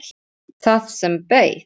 Það sem beið.